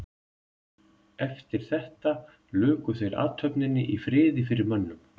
Eftir þetta luku þeir athöfninni í friði fyrir mönnum.